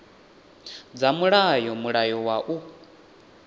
dza mulayo mulayo wa u